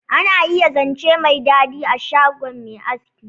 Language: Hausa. Ana iya zance mai dadi a shgon mai aski.